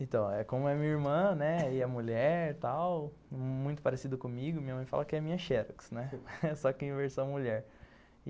Então, como é minha irmã, né, e é mulher e tal, muito parecido comigo, minha mãe fala que é minha xerox, né, só que em versão mulher.